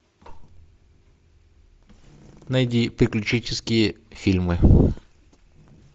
найди приключенческие фильмы